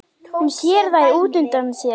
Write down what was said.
Hún sér þær útundan sér.